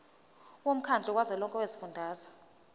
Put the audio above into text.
womkhandlu kazwelonke wezifundazwe